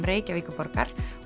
Reykjavíkurborgar